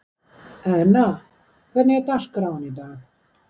Eðna, hvernig er dagskráin í dag?